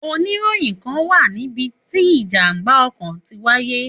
Òníròyìn kán wá níbití ìjàmbá ọkọ̀ tí wáyé